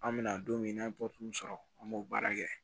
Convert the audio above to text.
An bɛna don min n'an ye sɔrɔ an b'o baara kɛ